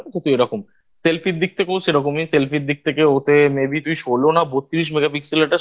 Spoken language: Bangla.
এরকম Selfie র দিক থেকেও সেরকমই Selfie র দিক থেকে ওতে May Be তুই ষোলো না বত্ৰিশ Megapixel একটা